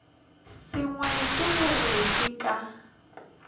sengwe ke gore ke ka